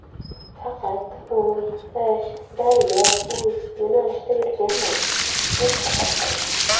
Faqat UyIshDaryoUy yo‘nalishida yurganman”, deb hazil qildi.